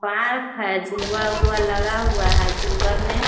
park है झूलवा उल्वा लगा हुआ है | झूलवा मे --